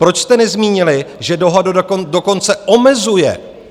Proč jste nezmínili, že dohoda dokonce omezuje?